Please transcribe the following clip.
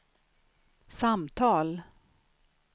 samtal